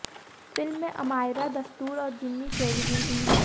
film में अमायरा दस्तूर और जिमी शेरगिल भी हैं